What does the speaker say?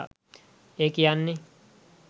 ඒ කියන්නෙ